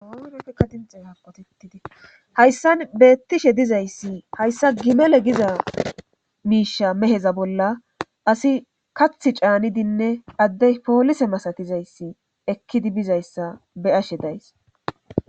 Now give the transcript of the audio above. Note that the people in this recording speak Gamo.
hayssan beettishe dizayssi hayssa gimele giza miisha meheza bolla asi kath caanidinne addey poolise masatizayssi ekkidi bizayssa beyashe days